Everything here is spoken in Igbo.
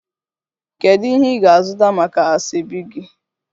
Kedu ihe ị ga-azụta maka asoebi gị?